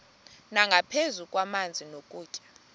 nangaphezu kwamanzi nokutya